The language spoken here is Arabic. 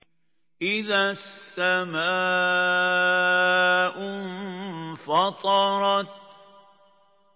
إِذَا السَّمَاءُ انفَطَرَتْ